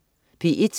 P1: